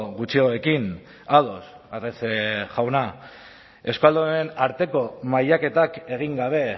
gutxiagorekin ados arrese jauna euskaldunen arteko mailaketak egin gabe